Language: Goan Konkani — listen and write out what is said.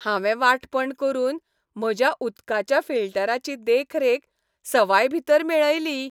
हांवें वांटपण करून म्हज्या उदकाच्या फिल्टराची देखरेख सवायभितर मेळयली.